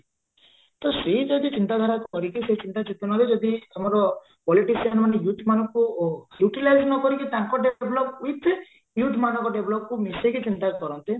ତ ସେ ଯଦି ଚିନ୍ତା ଧାରା କରିକି ସେଇ ଚିନ୍ତା ଚେତନାରେ ଯଦି ଆମର politician ମାନେ youth ମାନଙ୍କୁ utilize ନକରିକି ତାଙ୍କ develop with youth ମାନଙ୍କ developକୁ ମିଶେଇକି develop କରନ୍ତେ